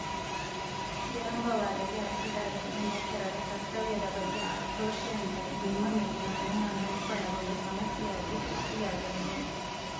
ವಿಳಂಬವಾದಲ್ಲಿ ಅರ್ಜಿದಾರರಿಗೆ ನೌಕರರ ಕರ್ತವ್ಯದ ಬಗ್ಗೆ ಆಕ್ರೋಶ ಉಂಟಾಗಿ ನಿಮ್ಮ ಮೇಲಿನ ಅನುಮಾನ ಉಲ್ಬಣಗೊಂಡು ಸಮಸ್ಯೆಯಾಗಿ ಸೃಷ್ಟಿಯಾಗಲಿದೆ